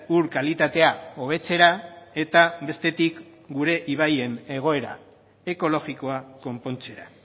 ur kalitatea hobetzera eta bestetik gure ibaien egoera ekologikoa konpontzera